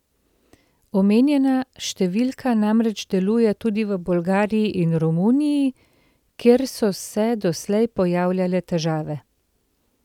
Omenjena številka namreč deluje tudi v Bolgariji in Romuniji, kjer so se doslej pojavljale težave.